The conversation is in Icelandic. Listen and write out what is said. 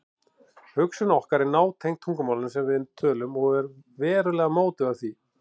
Hugsun okkar er nátengd tungumálinu sem við tölum og verulega mótuð af því.